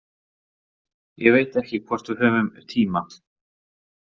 Ég veit ekki hvort við höfum tíma.